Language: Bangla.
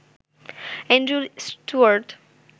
Andrew Stuart